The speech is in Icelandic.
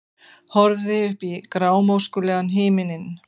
Horfði upp í grámóskulegan himininn.